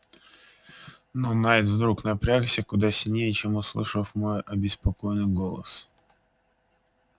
но найд вдруг напрягся куда сильнее чем услышав мой обеспокоенный голос